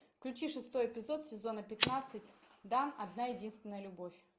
включи шестой эпизод сезона пятнадцать дан одна единственная любовь